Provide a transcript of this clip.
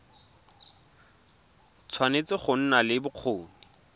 tshwanetse go nna le bokgoni